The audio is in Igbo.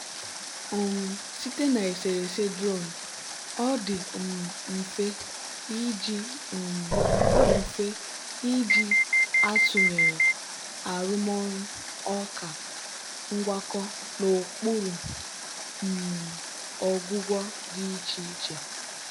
um site na eserese drone ọ dị um mfe iji um mfe iji atụnyere arụmọrụ ọka ngwakọ n'okpuru um ọgwụgwọ dị iche iche.